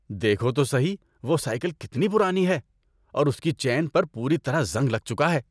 دیکھو تو سہی وہ سائیکل کتنی پرانی ہے اور اس کی چین پر پوری طرح زنگ لگ چکا ہے۔